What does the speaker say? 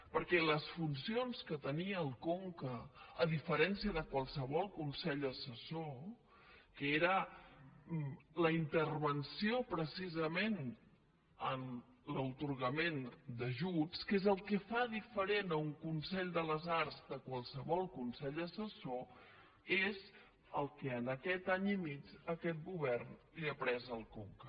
perquè les funcions que tenia el conca a diferència de qualsevol consell assessor que era la intervenció pre·cisament en l’atorgament d’ajuts que és el que fa dife·rent un consell de les arts de qualsevol consell asses·sor és el que en aquest any i mig aquest govern li ha pres al conca